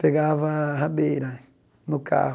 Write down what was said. Pegava a rabeira no carro.